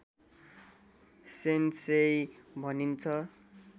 sensei भनिन्छ